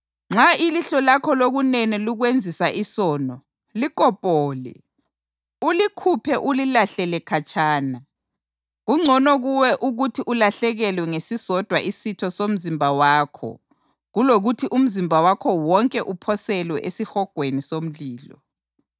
Nxa ilihlo lakho lokunene likwenzisa isono, likopole, ulikhuphe ulilahlele khatshana. Kungcono kuwe ukuthi ulahlekelwe ngesisodwa isitho somzimba wakho kulokuthi umzimba wakho wonke uphoselwe esihogweni somlilo.